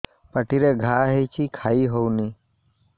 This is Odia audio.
ପାଟିରେ ଘା ହେଇଛି ଖାଇ ହଉନି